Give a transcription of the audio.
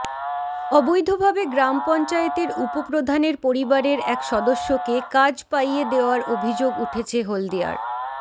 অবৈধভাবে গ্রাম পঞ্চায়েতের উপপ্রধানের পরিবারের এক সদস্যকে কাজ পাইয়ে দেওয়ার অভিযোগ উঠেছে হলদিয়ার